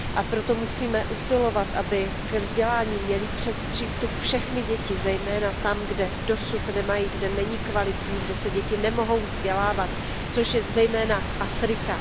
Proto musíme usilovat o to, aby ke vzdělání měly přístup všechny děti, zejména tam, kde jej dosud nemají, kde není kvalitní, kde se děti nemohou vzdělávat, což je zejména Afrika.